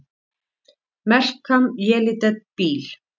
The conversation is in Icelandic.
Melkam Yelidet Beaal!